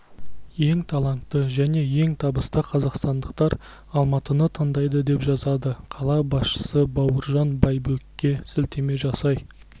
ең талантты және ең табысты қазақстандықтар алматыны таңдайды деп жазады қала басшысы бауыржан байбекке сілтеме жасай